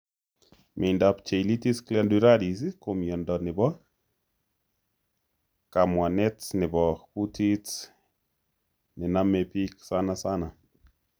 Miondap cheilitis glandularis ko miondo nebo kapwanetr nebo kutit nemname piik sanasana